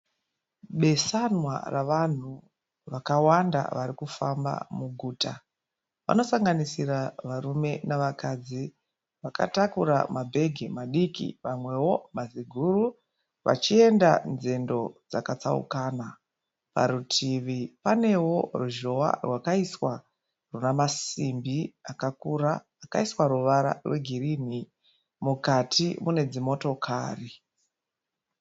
Besanwa ravanhu vakawanda varikufamba muguta. Vanosanganisira varume nevakadzi vakatakura mabhegi madiki vamwewo maziguru vachienda nzendo dzakatsaukana. Parutivi panewo ruzhowa rwakaiswa runemasimbi akakura akaiswa ruvara rwegirini. Mukati munedzimotokari.